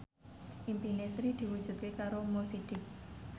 impine Sri diwujudke karo Mo Sidik